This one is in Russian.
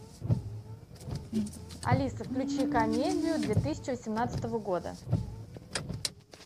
алиса включи комедию две тысячи восемнадцатого года